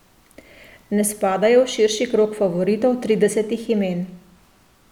Ne spadajo v širši krog favoritov tridesetih imen.